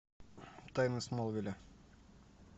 тайны смолвиля